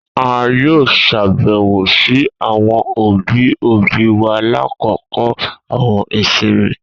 A yoo ṣabẹwo si awọn obi obi wa lakoko awọn isinmi.